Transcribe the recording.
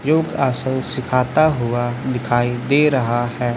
योग आसन सीखाता हुआ दिखाई दे रहा है।